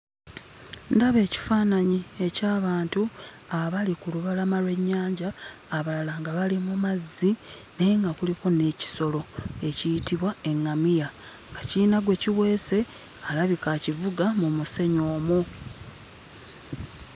Ndaba ekifaananyi eky'abantu abali ku lubalama lw'ennyanja, abalala nga bali mu mazzi naye nga kuliko n'ekisolo ekiyitibwa eŋŋamiya nga kiyina gwe kiweese alabika akivuga mu musenyu omwo.